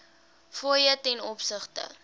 fooie ten opsigte